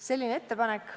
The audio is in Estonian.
Selline on meie ettepanek.